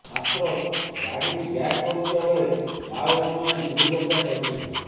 ମାତ୍ର ଗାଡି ବ୍ୟାକ କରୁଥିବା ବେଳେ ମାଓବାଦୀ ମାନେ ଗୁଳି ବର୍ଷା କରିଥିଲେ